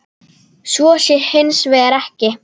Svo sé hins vegar ekki.